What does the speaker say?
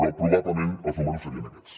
però probablement els números serien aquests